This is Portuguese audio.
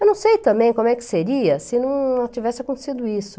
Eu não sei também como é que seria se não tivesse acontecido isso.